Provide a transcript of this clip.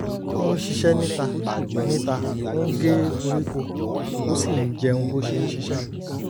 ó ń ṣiṣẹ́ níta níta ó ń gé koríko ó sì ń jẹun bó ṣe ń ṣiṣẹ́